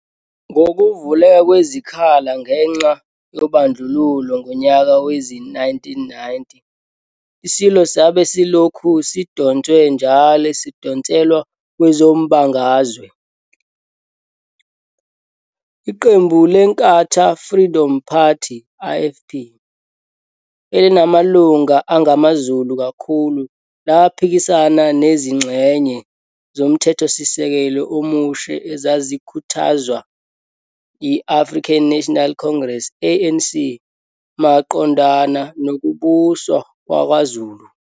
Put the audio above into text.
Ngokuvuleka kwesikhala ngenxa yobondlululo ngonyaka wezi-1990, iSilo sabe silokhu sidonswe njalo sidonselwa kwezombangazwe. Iqembu le-Inkatha Freedom Party, IFP, elinamalunga angamaZulu kakhulu laphikisana nezingxenye zomthethosisekelo omusha ezazikhuthazwa yi-African National Congress, ANC, maqondana nokubuswa kwaKwaZulu.